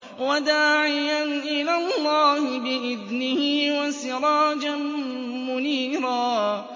وَدَاعِيًا إِلَى اللَّهِ بِإِذْنِهِ وَسِرَاجًا مُّنِيرًا